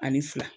Ani fila